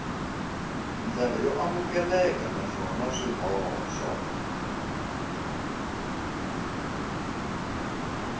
ndlela yo amukeleka naswona swihoxo